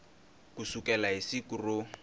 ku sukela hi siku ro